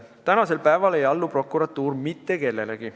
Tänasel päeval ei allu prokuratuur mitte kellelegi.